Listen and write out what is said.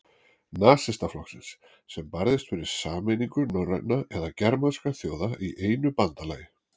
Nasistaflokksins, sem barðist fyrir sameiningu norrænna eða germanskra þjóða í einu bandalagi.